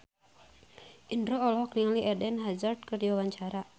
Indro olohok ningali Eden Hazard keur diwawancara